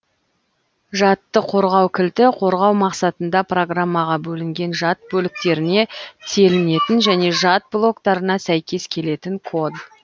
жадты қорғау кілті қорғау мақсатында программаға бөлінген жад бөліктеріне телінетін және жад блоктарына сәйкес келетін код